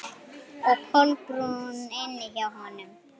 Og Kolbrún inni hjá honum.